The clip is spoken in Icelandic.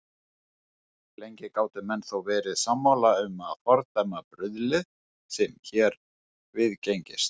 Lengi gátu menn þó verið sammála um að fordæma bruðlið, sem hér viðgengist.